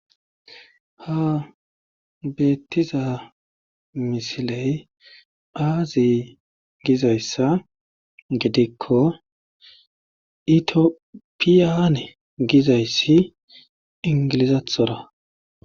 ha beettiza misiley aazi gizayssa gidikko itiopiyane gizayssi ingilizathora